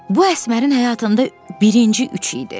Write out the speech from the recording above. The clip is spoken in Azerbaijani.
Bu Əsmərin həyatında birinci üç idi.